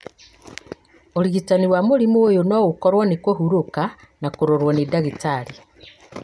ũrigitani wa mũrimũ ũyũ no ũkorwo nĩ kũhurũka na kũrorwo nĩ ndagĩtarĩ.